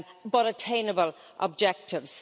but attainable objectives.